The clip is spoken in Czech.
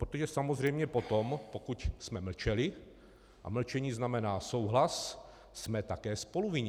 Protože samozřejmě potom, pokud jsme mlčeli, a mlčení znamená souhlas, jsme také spoluvinni.